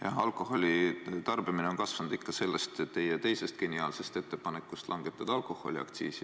Jah, alkoholi tarbimine on kasvanud ikka sellest teie teisest geniaalsest ettepanekust langetada alkoholiaktsiisi.